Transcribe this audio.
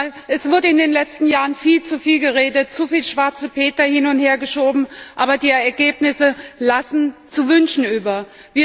Denn es wurde in den letzten Jahren viel zu viel geredet, es wurden zu viele schwarze Peter hin und hergeschoben, aber die Ergebnisse lassen zu wünschen übrig.